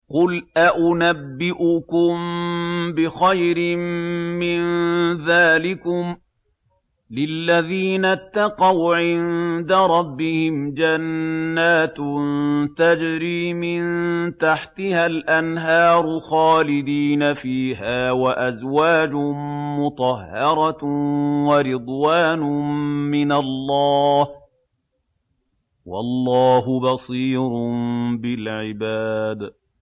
۞ قُلْ أَؤُنَبِّئُكُم بِخَيْرٍ مِّن ذَٰلِكُمْ ۚ لِلَّذِينَ اتَّقَوْا عِندَ رَبِّهِمْ جَنَّاتٌ تَجْرِي مِن تَحْتِهَا الْأَنْهَارُ خَالِدِينَ فِيهَا وَأَزْوَاجٌ مُّطَهَّرَةٌ وَرِضْوَانٌ مِّنَ اللَّهِ ۗ وَاللَّهُ بَصِيرٌ بِالْعِبَادِ